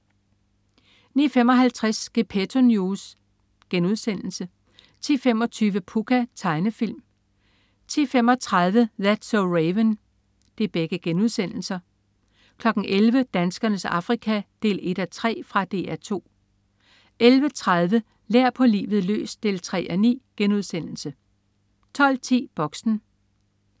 09.55 Gepetto News* 10.25 Pucca.* Tegnefilm 10.35 That's so Raven* 11.00 Danskernes Afrika 1:3. Fra DR 2 11.30 Lær på livet løs 3:9* 12.10 Boxen